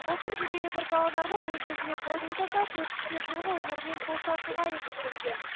былтыр жүз елу бір павлодарлық өзіне қол жұмсаса төрт жүзге жуығы өмірімен қоштасуға әрекеттенген